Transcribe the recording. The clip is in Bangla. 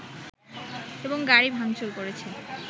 এবং গাড়ি ভাঙচুর করেছে